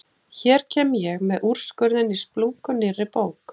Hér kem ég með úrskurðinn í splunkunýrri bók!